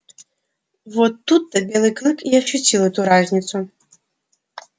вот тут то белый клык и ощутил эту разницу